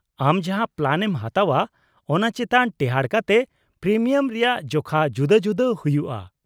-ᱟᱢ ᱡᱟᱦᱟᱸ ᱯᱞᱟᱱᱮᱢ ᱦᱟᱛᱟᱣᱼᱟ ᱚᱱᱟ ᱪᱮᱛᱟᱱ ᱴᱮᱦᱟᱰ ᱠᱟᱛᱮᱫ ᱯᱨᱤᱢᱤᱭᱟᱢ ᱨᱮᱭᱟᱜ ᱡᱚᱠᱷᱟ ᱡᱩᱫᱟᱹ ᱡᱩᱫᱟᱹ ᱦᱩᱭᱩᱜᱼᱟ ᱾